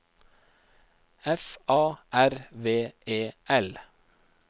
F A R V E L